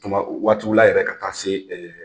Tuma waatiw la yɛrɛ ka taa se